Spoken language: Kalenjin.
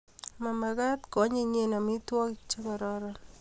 ma mekat ko anyinyen amitwogik che kororon